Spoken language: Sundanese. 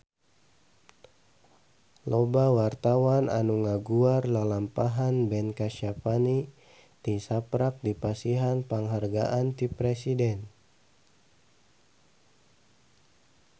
Loba wartawan anu ngaguar lalampahan Ben Kasyafani tisaprak dipasihan panghargaan ti Presiden